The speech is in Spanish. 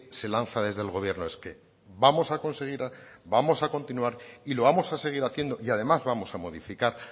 se lanza desde el gobierno es que vamos a conseguir vamos a continuar y lo vamos a seguir haciendo y además vamos a modificar